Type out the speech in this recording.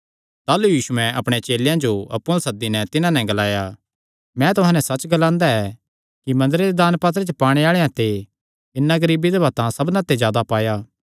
ताह़लू यीशुयैं अपणे चेलेयां जो अप्पु अल्ल सद्दी नैं तिन्हां जो ग्लाया मैं तुहां नैं सच्च ग्लांदा ऐ कि मंदरे दे दानपात्रे च पाणे आल़ेआं ते इन्नै गरीब बिधवा तां सबना ते जादा पाया